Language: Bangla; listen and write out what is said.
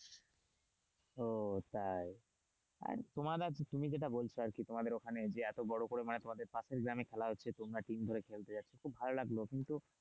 ও তাই আর তোমার আর তুমি যেটা বলছো আর কি তোমাদের ওখানে এত বড় করে তোমাদের পাশের গ্রামে খেলা হচ্ছে তোমরা অনেকদিন ধরে খেতে যাচ্ছ খুব ভালো লাগলো কিন্তু,